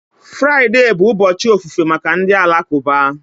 Friday bụ ụbọchị ofufe maka ndị Alakụba